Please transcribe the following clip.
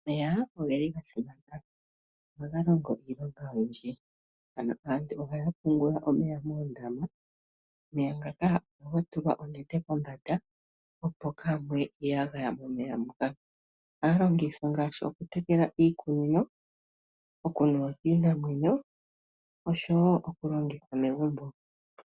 Omeya ogasimana oshoka ohaga longo iilonga oyindji naantu ohaapungula omeya moondama no kombanda yondama ohakutulwa onete opo momeya kaamuye iiyagaya. Omeya haga longithwa okutekela iimeno, okunuwa kiimuna nosho woo okulongithwa momagumbo.